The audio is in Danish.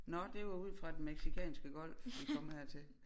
Nå det var ud fra Den Mexicanske Golf vi kom hertil